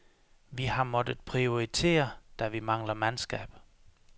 Vi har måttet prioritere, da vi mangler mandskab.